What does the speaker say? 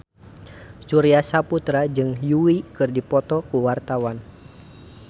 Surya Saputra jeung Yui keur dipoto ku wartawan